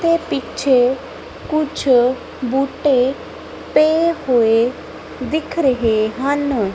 ਤੇ ਪਿੱਛੇ ਕੁਛ ਬੂਟੇ ਪੇ ਹੋਏ ਦਿਖ ਰਹੇ ਹਨ।